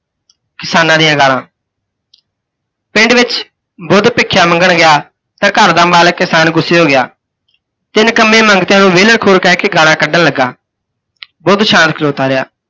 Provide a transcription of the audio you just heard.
ਕਿਸਾਨਾਂ ਦੀਆਂ ਗਾਲ੍ਹਾਂ ਪਿੰਡ ਵਿੱਚ ਬੁੱਧ ਭਿੱਖਿਆ ਮੰਗਣ ਗਿਆ, ਤੇ ਘਰ ਦਾ ਮਾਲਿਕ ਕਿਸਾਨ ਗੁੱਸੇ ਹੋ ਗਿਆ, ਤੇ ਨਿਕੰਮੇ ਮੰਗਤਿਆਂ ਨੂੰ ਵਿਹਲੇ ਖੋਰ ਕਹਿ ਕੇ ਗਾਲ੍ਹਾਂ ਕੱਢਣ ਲੱਗਾ। ਬੁੱਧ ਸ਼ਾਂਤ ਖਲੋਤਾ ਰਿਹਾ।